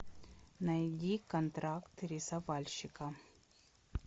найди контракт рисовальщика